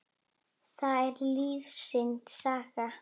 Það er lífsins saga.